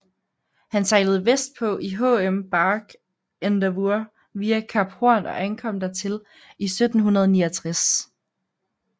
Han sejlede vestpå i HM Bark Endeavour via Kap Horn og ankom dertil i 1769